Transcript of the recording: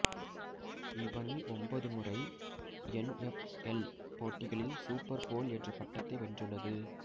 இவ்வணி ஒன்பது முறை N F L போட்டிகளில் சூப்பர் போல் என்ற பட்டத்தை வென்றுள்ளது